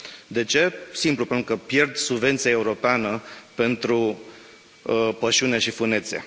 De ce? Simplu, pentru că pierd subvenția europeană pentru pășune și fânețe.